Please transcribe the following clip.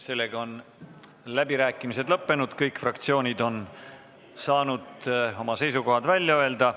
Sellega on läbirääkimised lõppenud, kõik fraktsioonid on saanud oma seisukohad välja öelda.